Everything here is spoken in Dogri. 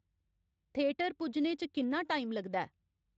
थियेटर पुज्जने च किन्ना टाइम लगदा ऐ